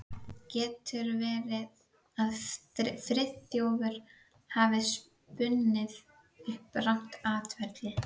Getur verið að Friðþjófur hafi spunnið upp rangt atferli?